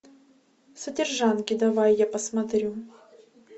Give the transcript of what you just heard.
содержанки давай я посмотрю